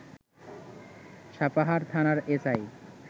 সাপাহার থানার এসআই